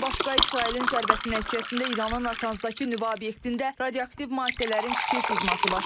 Bundan başqa İsrailin zərbəsi nəticəsində İranın Natanzdakı nüvə obyektində radioaktiv maddələrin kiçik sızması baş verib.